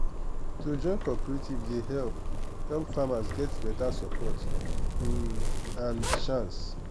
to join cooperative dey help help farmers get beta support um and market chance.